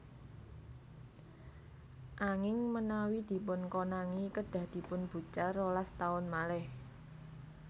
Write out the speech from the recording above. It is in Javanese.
Anging menawi dipunkonangi kedhah dipunbucal rolas taun malih